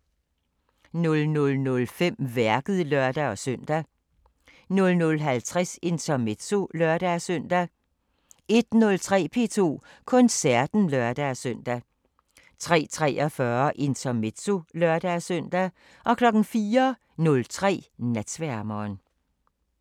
00:05: Værket (lør-søn) 00:50: Intermezzo (lør-søn) 01:03: P2 Koncerten (lør-søn) 03:43: Intermezzo (lør-søn) 04:03: Natsværmeren